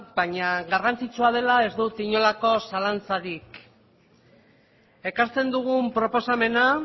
baina garrantzitsua dela ez dut inolako zalantzarik ekartzen dugun proposamena